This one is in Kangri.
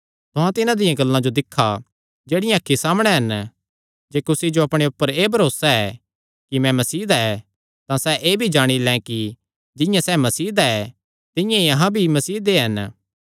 तुहां तिन्हां दियां गल्लां जो दिक्खा जेह्ड़ियां अखीं सामणै हन जे कुसी जो अपणे ऊपर एह़ भरोसा ऐ कि मैं मसीह दा ऐ तां सैह़ एह़ भी जाणी लैं कि जिंआं सैह़ मसीह दा ऐ तिंआं ई अहां भी मसीह दे हन